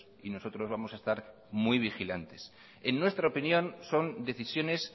y nosotros vamos a estar muy vigilantes en nuestra opinión son decisiones